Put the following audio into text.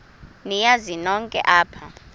niyazi nonk apha